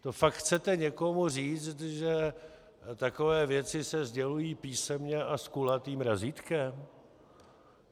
To fakt chcete někomu říct, že takové věci se sdělují písemně a s kulatým razítkem?